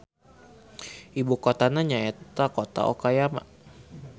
Ibukotana nyaeta Kota Okayama.